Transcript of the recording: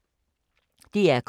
DR K